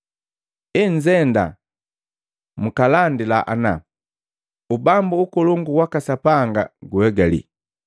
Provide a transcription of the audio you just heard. Enzenda, mkalandila ana, ‘Ubambu ukolongu waka Sapanga guegali.’